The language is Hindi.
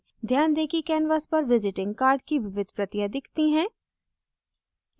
ध्यान दें कि canvas पर visiting card की विविध प्रतियाँ दिखती हैं